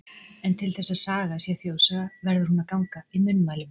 En til þess að saga sé þjóðsaga, verður hún að ganga í munnmælum.